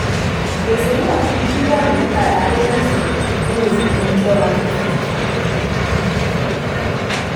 gbèsè náà ti di bílíọ̀nù mẹ́tàlá lé mẹ́sàn-án ní oṣù kẹwàá twenty twenty two.